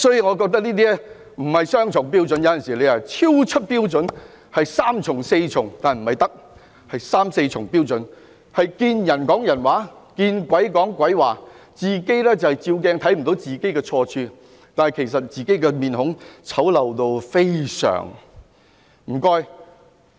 我覺得這豈止是雙重標準，是超出標準，是三重、四重——不是三從四德——是三四重標準，"見人說人話，見鬼說鬼話"，站在鏡子前也看不到自己的錯處，其實自己的臉孔非常醜陋。